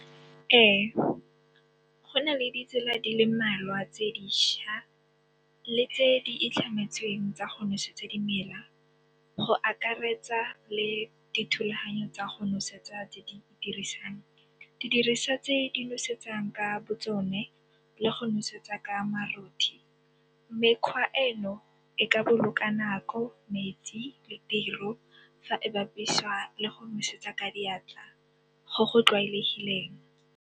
Ee, go na le ditsela di le mmalwa tse diša le tse di itlhametsweng tsa go nosetsa dimela go akaretsa le dithulaganyo tsa go nosetsa tse di dirisiwang. Didiriswa tse di nosetsang ka bo tsone le go nosetsa ka marothi. Mekgwa eno e ka boloka nako, metsi le tiro fa e bapiswa le go nosetsa ka diatla go go tlwaelegileng.